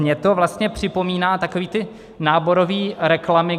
Mně to vlastně připomíná takové ty náborové reklamy.